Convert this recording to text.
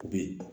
U bɛ yen